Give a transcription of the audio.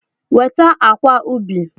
Weta akwa ubi!